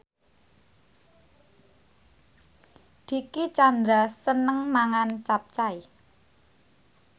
Dicky Chandra seneng mangan capcay